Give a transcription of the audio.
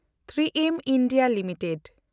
᱓ᱮᱢ India limited